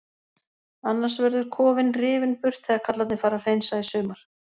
Annars verður kofinn rifinn burt þegar kallarnir fara að hreinsa í sumar.